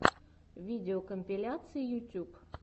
видеокомпиляции ютюб